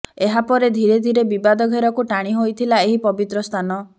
ଏହାପରେ ଧୀରେ ଧୀରେ ବିବାଦ ଘେରକୁ ଟାଣି ହୋଇଥିଲା ଏହି ପବିତ୍ର ସ୍ଥାନ